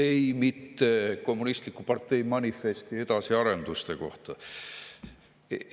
Ei, mitte "Kommunistliku partei manifesti" edasiarenduste kohta.